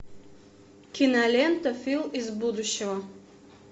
кинолента фил из будущего